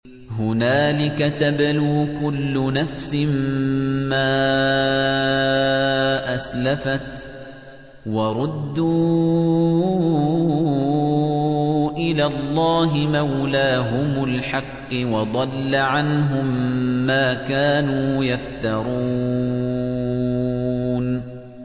هُنَالِكَ تَبْلُو كُلُّ نَفْسٍ مَّا أَسْلَفَتْ ۚ وَرُدُّوا إِلَى اللَّهِ مَوْلَاهُمُ الْحَقِّ ۖ وَضَلَّ عَنْهُم مَّا كَانُوا يَفْتَرُونَ